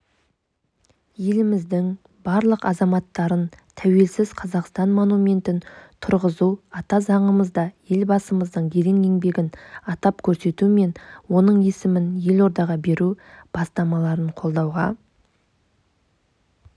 еліміздің барлық азаматтарын тәуелсіз қазақстан монументін тұрғызу ата заңымызда елбасымыздың ерен еңбегін атап көрсету мен оның есімін елордаға беру бастамаларын қолдауға